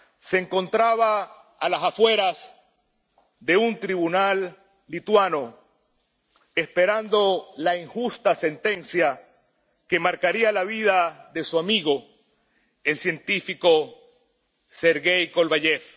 Se encontraba a las afueras de un tribunal lituano, esperando la injusta sentencia que marcaría la vida de su amigo, el científico Serghey Kovalyev.